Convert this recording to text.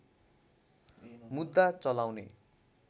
मुद्दा चलाउने